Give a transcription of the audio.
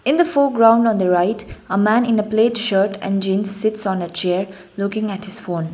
in the foreground on the right a man in the plaid shirt and jeans sits on a chair looking at his phone.